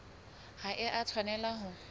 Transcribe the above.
ha e a tshwanela ho